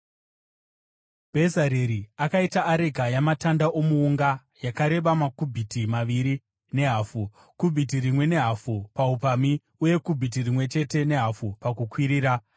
Bhezareri akaita areka yamatanda omuunga, yakareba makubhiti maviri nehafu , kubhiti rimwe nehafu paupamhi, uye kubhiti rimwe chete nehafu pakukwirira.